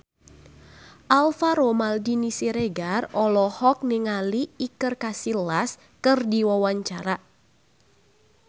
Alvaro Maldini Siregar olohok ningali Iker Casillas keur diwawancara